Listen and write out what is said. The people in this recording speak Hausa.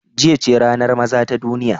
Jiya ce ranar maza ta duniya.